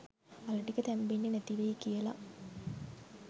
අල ටික තැම්බෙන්නෙ නැති වෙයි කියලා.